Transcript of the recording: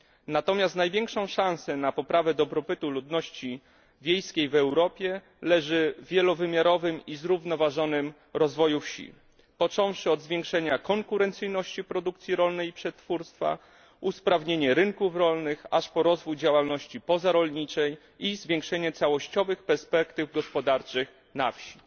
Natomiast największa szansa na poprawę dobrobytu ludności wiejskiej w Europie leży w wielowymiarowym i zrównoważonym rozwoju wsi począwszy od zwiększenia konkurencyjności produkcji rolnej i przetwórstwa, usprawnienia rynków rolnych, aż po rozwój działalności pozarolniczej i zwiększenie całościowych perspektyw gospodarczych na wsi.